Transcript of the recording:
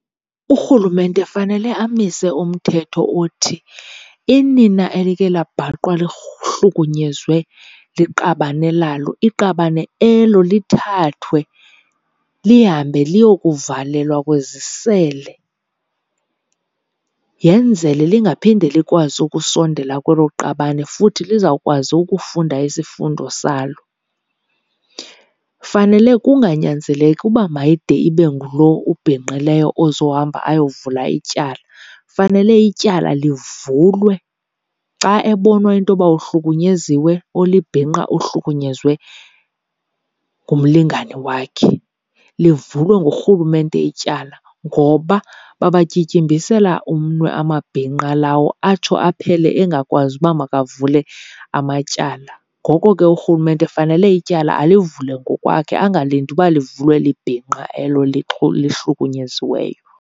Urhulumente fanele amise umthetho othi inina elike labhaqwa liqabane lalo, iqabane elo lithathwe lihambe liyokuvalelwa kwizisele yenzele lingaphinde likwazi ukusondela kwelo qabane futhi lizawukwazi ukufunda isifundo salo. Fanele kunganyanzeleki uba mayide ibe ngulo ubhinqileyo ozohamba ayovula ityala, fanele ityala livulwe xa ebonwa intoba uhlukunyeziwe ulibhinqa uhlukunyezwe ngumlingane wakhe. Livulwe ngurhulumente ityala ngoba babatyityimbisela umnwe amabhinqa lawo atsho aphele engakwazi uba makavumelane amatyala. Ngoko ke urhulumente fanele ityala alivule ngokwakhe angalindi uba livulwe libhinqa elo lihlukunyeziweyo.